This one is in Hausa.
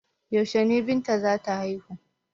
Yaushe ne Binta za ta haihu?